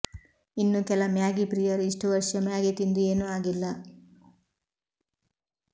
ಇನ್ನು ಕೆಲ ಮ್ಯಾಗಿ ಪ್ರಿಯರು ಇಷ್ಟು ವರ್ಷ ಮ್ಯಾಗಿ ತಿಂದು ಏನು ಆಗಿಲ್ಲ